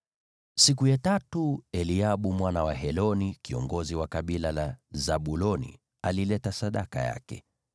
Siku ya tatu Eliabu mwana wa Heloni, kiongozi wa kabila la Zabuloni, alileta sadaka yake.